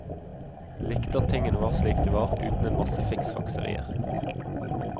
Likte at tingene var slik de var, uten en masse fiksfakserier.